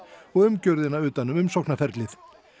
og umgjörðina utan um umsóknarferlið